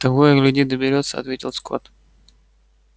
того и гляди доберётся ответил скотт